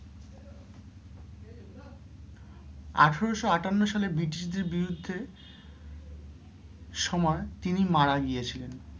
আঠারোশো আটান্ন সালে British দের বিরুদ্ধে সময় তিনি মারা গিয়েছিলেন।